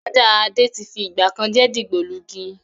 Ajá Adé tí fi ìgbàkan jẹ́ dìgbòlugi